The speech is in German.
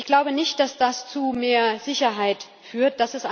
Ich glaube nicht, dass das zu mehr Sicherheit führt.